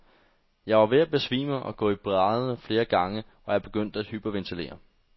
Jeg var ved at besvime og gå i brædderne flere gange, og jeg begyndte at hyperventilere.